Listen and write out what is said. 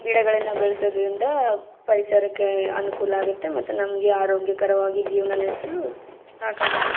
ಗಿಡಗಳನ್ನು ಬೆಳೆಸೋದರಿಂದ ಪರಿಸರಕ್ಕೆ ಅನುಕೂಲ ಆಗುತ್ತೆ ಮತ್ತೆ ನಮಗೆ ಆರೋಗ್ಯಕರವಾಗಿ ಜೀವನ ನಡೆಸಲು ಸಹಕಾರಿ ಆಗುತ್ತೆ.